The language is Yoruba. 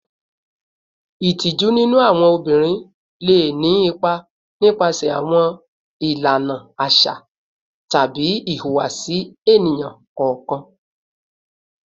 Itiju ninu awọn obinrin le ni ipa nipasẹ awọn ilana aṣa tabi ihuwasi eniyan kọọkan